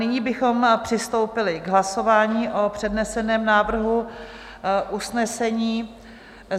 Nyní bychom přistoupili k hlasování o předneseném návrhu usnesení.